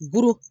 Buru